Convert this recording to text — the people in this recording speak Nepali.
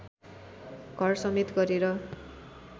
घरसमेत गरेर